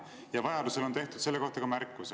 Ja vajaduse korral on tehtud selle kohta märkusi.